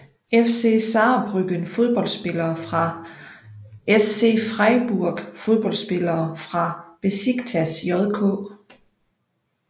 FC Saarbrücken Fodboldspillere fra SC Freiburg Fodboldspillere fra Beşiktaş JK